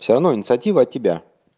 всё равно инициатива от тебя